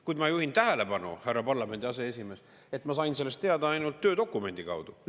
Kuid ma juhin tähelepanu, härra parlamendi aseesimees, et ma sain sellest teada ainult töödokumendi kaudu.